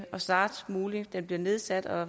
snarest muligt bliver nedsat og